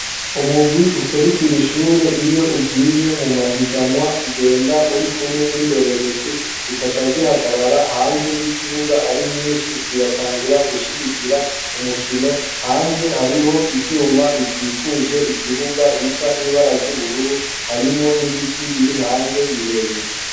Umugwi userukira ishure iyo ugiye mu mahiganwa ugenda uri kumwe n'indorerezi zikaca zihagarara hanze y' ikibuga ari nyinshi zigatangura gushigikira umukino. hanze hariho ivyuma bikikuje ikibuga bisa n'ibara ry'ubururu harimwo n'ibiti biri hanze birebire.